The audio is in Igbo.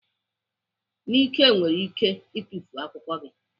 Nike nwere ike itufu akwụkwọ gị.